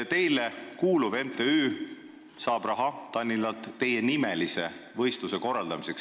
Teile kuuluv MTÜ saab Tallinnalt raha teienimelise võistluse korraldamiseks.